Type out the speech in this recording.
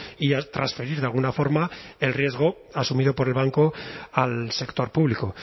y transferir de alguna forma el riesgo asumido por el banco al sector público